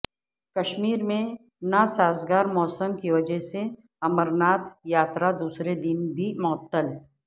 کشمیر میں ناسازگار موسم کی وجہ سے امرناتھ یاترا دوسرے دن بھی معطل